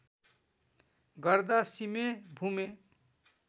गर्दा सिमे भूमे